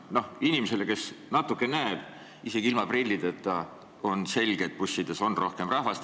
Inimesele, kes natuke näeb isegi ilma prillideta, on selge, et bussides on rohkem rahvast.